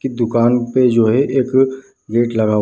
की दुकान पे जो है एक गेट लगा हुआ है।